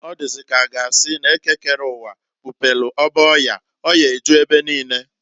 Ọ dịzị k'a ga asị n'Eke kere uwa, kpupelu ọba ọya, ọya eju ebe niine.